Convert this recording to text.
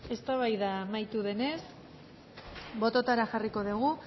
eztabaida amaitu denez bototara jarriko dugu